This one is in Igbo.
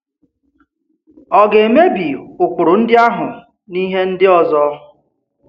Ọ̀ ga-emebi ụkpụrụ ndị áhù n’ihe ndị ọzọ?